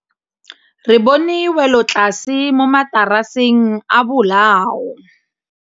Re bone wêlôtlasê mo mataraseng a bolaô.